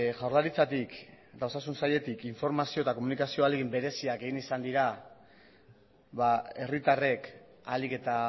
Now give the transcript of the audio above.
jaurlaritzatik eta osasun sailetik informazio eta komunikazio ahalegin bereziak egin izan dira herritarrek ahalik eta